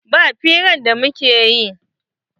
Ba hirar da muke yi.